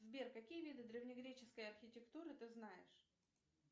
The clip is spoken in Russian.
сбер какие виды древнегреческой архитектуры ты знаешь